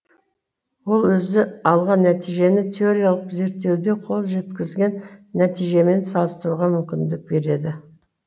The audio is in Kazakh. ол өзі алған нәтижені теориялық зерттеуде қол жеткізген нәтижемен салыстыруға мүмкіндік береді